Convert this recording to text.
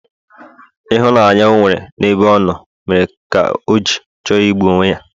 Ịhụnanya o nwere n'ebe ọ nọ mere ka o gi chọrọ igbu onwe ya